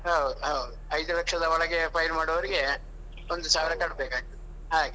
ಹೌದು ಹೌದು ಐದು ಲಕ್ಷದ ಒಳಗೆ file ಮಾಡುವವರಿಗೆ ಒಂದು ಸಾವಿರ ಕಟ್ಟಬೇಕಾಗ್ತದೆ ಹಾಗೆ.